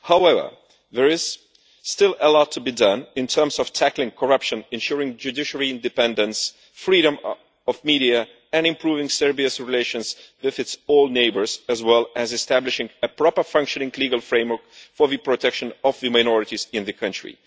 However, there is still a lot to be done in terms of tackling corruption, ensuring judiciary independence and freedom of media and improving Serbia's relations with all its neighbours, as well as establishing a properly functioning legal framework for the protection of the minorities in the country.